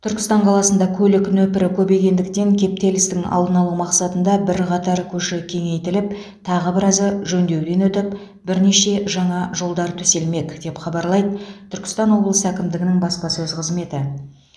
түркістан қаласында көлік нөпірі көбейгендіктен кептелістің алдын алу мақсатында бірқатар көше кеңейтіліп тағы біразы жөндеуден өтіп бірнеше жаңа жолдар төселмек деп хабарлайды түркістан облысы әкімдігінің баспасөз қызметі